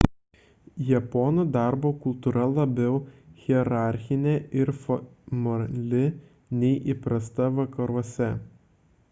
japonų darbo kultūra labiau hierarchinė ir formali nei įprasta vakaruose